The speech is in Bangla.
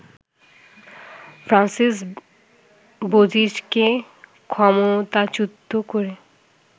ফ্রান্সিস বোজিজকে ক্ষমতাচ্যুত করে